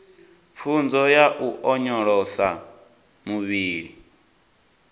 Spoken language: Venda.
pfunzo ya u onyolosa muvhili